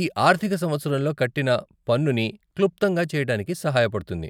ఈ ఆర్ధిక సంవత్సరంలో కట్టిన పన్నుని క్లుప్తంగా చేయటానికి సహాయపడుతుంది